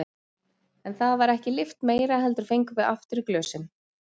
En það var ekki lyft meira heldur fengum við aftur í glösin.